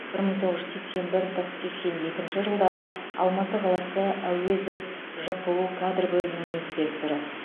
бір мың тоғыз жүз сексен бір тоқ сексен екінші жылдары алматы қаласы әуезов жқу кадр бөлімінің инспекторы